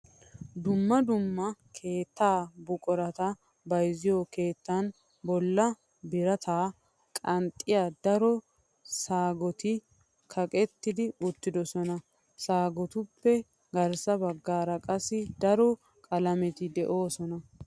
Dumma dumma keettaa buqurata bayziyo keettan bollan birataa qanxxiya daro saggettoti kaqettidi uttidosona. Saggeettotuppe garssa baggaara qassi daro qalameti de"oosona.